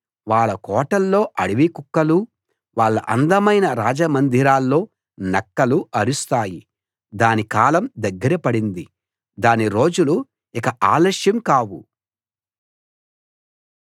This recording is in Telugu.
వాళ్ళ కోటల్లో అడవి కుక్కలూ వాళ్ళ అందమైన రాజమందిరాల్లో నక్కలూ అరుస్తాయి దాని కాలం దగ్గరపడింది దాని రోజులు ఇక ఆలస్యం కావు